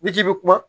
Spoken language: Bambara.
N'i k'i bɛ kuma